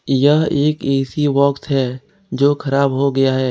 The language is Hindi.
यह एक ए_सी बॉक्स है जो खराब हो गया है।